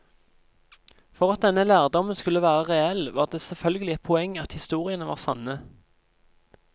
For at denne lærdommen skulle være reell, var det selvfølgelig et poeng at historiene var sanne.